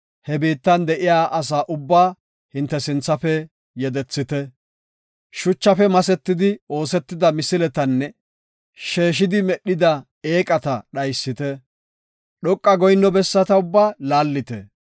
he biittan de7iya asa ubbaa hinte sinthafe yedethite. Shuchafe masetidi oosetida misiletanne sheeshidi medhida eeqata dhaysite. Dhoqa goyinno bessata ubbaa laallite.